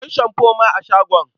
Akwai shamfo ma a shagon.